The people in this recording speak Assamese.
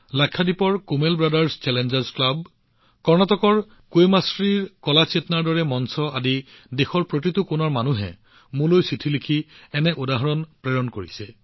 লাক্ষাদ্বীপৰ কুমেল ব্ৰাদাৰ্ছ চেলেঞ্জাৰ্ছ ক্লাব হওক বা কৰ্ণাটকৰ কুৱেমশ্ৰী জীৰ কালা চেতনাৰ দৰে প্লেটফৰ্ম হওক দেশৰ প্ৰতিটো প্ৰান্তৰ মানুহে মোক চিঠিৰ জৰিয়তে এনে উদাহৰণ প্ৰেৰণ কৰিছে